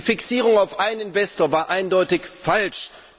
Die Fixierung auf einen Investor war eindeutig falsch.